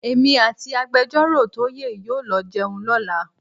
Èmi àti Agbẹjọ́rọ̀ Toye yóò lọ jẹun lọ́la.